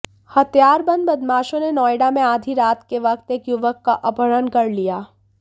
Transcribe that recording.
हथियारबंद बदमाशों ने नोएडा में आधी रात के वक्त एक युवक का अपहरण कर लिया